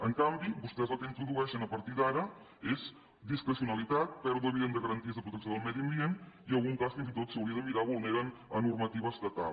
en canvi vostès el que introdueixen a partir d’ara és discrecionalitat pèrdua evident de garanties de protecció del medi ambient i en algun cas fins i tot s’hauria de mirar vulneren normativa estatal